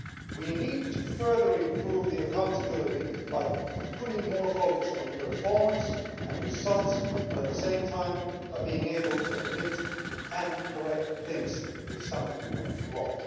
We need to further improve accountability by putting more focus on performance and results, but at the same time by being able to admit and correct things if something went wrong.